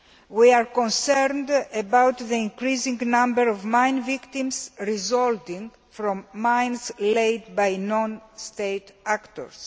We are concerned about the increasing number of mine victims resulting from mines laid by non state actors.